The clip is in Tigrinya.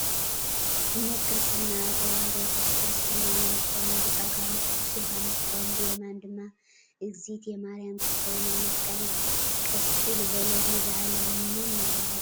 እምነት ክርስትና ተወህዶክስ ክርስትና ናይ ዝኮኑ ብፀጋሙ ቅዱስ ዮሃንስ እንትከውን ብየማን ድማ እግዝእትየ ማርያም እንትትከውን ኣብ መስቀል ቀሰቂሉ ዘሎ ቤዛ ኣለም መን እናተባህለ ይፅዋዕ?